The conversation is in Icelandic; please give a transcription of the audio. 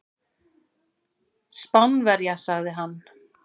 Spánverja, sagði hann.